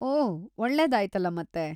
ಓಹ್‌, ಒಳ್ಳೆದಾಯ್ತಲ ಮತೇ.